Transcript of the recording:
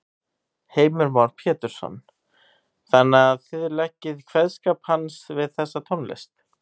Heimir Már Pétursson: Þannig að þið leggið kveðskap hans við þessa tónlist?